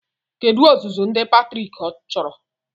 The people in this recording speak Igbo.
Kedu ọzụzụ ndị pètrịàk chọrọ